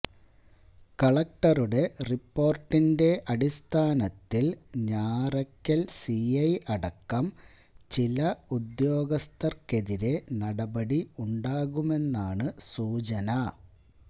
കളക്ടറുടെ റിപ്പോർട്ടിന്റെ അടിസ്ഥാനത്തില് ഞാറയ്ക്കൽ സിഐ അടക്കം ചില ഉദ്യോഗസ്ഥർക്കെതിരെ നടപടി ഉണ്ടാകുമെന്നാണ് സൂചന